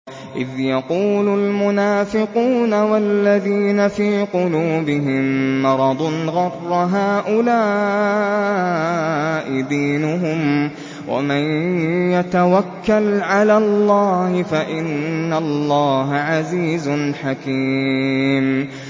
إِذْ يَقُولُ الْمُنَافِقُونَ وَالَّذِينَ فِي قُلُوبِهِم مَّرَضٌ غَرَّ هَٰؤُلَاءِ دِينُهُمْ ۗ وَمَن يَتَوَكَّلْ عَلَى اللَّهِ فَإِنَّ اللَّهَ عَزِيزٌ حَكِيمٌ